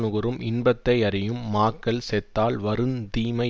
நுகரும் இன்பத்தையறியும் மாக்கள் செத்தால் வருந்தீமை